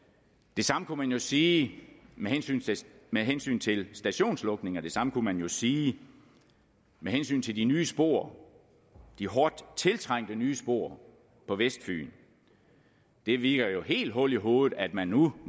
det samme kunne man jo sige med hensyn med hensyn til stationslukninger og det samme kunne man sige med hensyn til de nye spor de hårdt tiltrængte nye spor på vestfyn det virker jo helt hul i hovedet at man nu